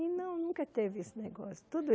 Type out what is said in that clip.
E não, nunca teve esse negócio. Tudo